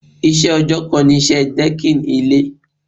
Iṣẹ́ ọjọ́ kan ni iṣẹ́ dẹ́kìn ilé.